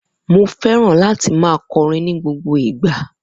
Mo feran láti ma kọrin ni gbogbo ìgba